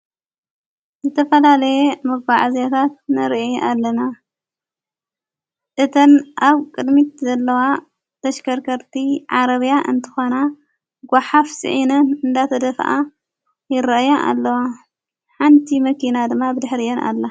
ዘተፈላለየ መጎዓዝያ ታት ነርአ ኣለና እተን ኣብ ቅድሚት ዘለዋ ተሽከርከርቲ ዓረብያ እንተኾና ጓሓፍ ፂዒነን እንዳተደፍኣ ይርአያ ኣለዋ ሓንቲ መኪና ድማ ብድኅርእየን ኣላ።